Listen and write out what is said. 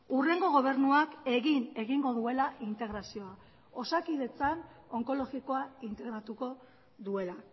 hurrengo gobernuak egin egingo duela integrazioa osakidetzan onkologikoa integratuko duela